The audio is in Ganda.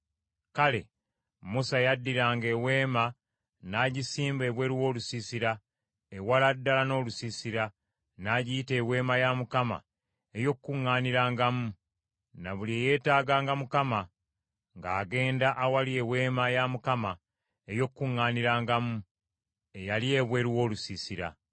Kale, Musa yaddiranga eweema n’agisimba ebweru w’olusiisira, ewala ddala n’olusiisira; n’agiyita Eweema ey’Okukuŋŋaanirangamu. Ne buli eyeetaaganga Mukama , ng’agenda awali Eweema ey’Okukuŋŋaanirangamu, eyali ebweru w’olusiisira.